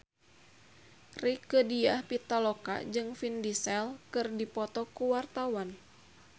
Rieke Diah Pitaloka jeung Vin Diesel keur dipoto ku wartawan